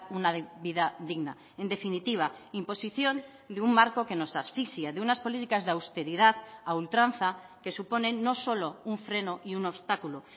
una vida digna en definitiva imposición de un marco que nos asfixia de unas políticas de austeridad a ultranza que suponen no solo un freno y un obstáculo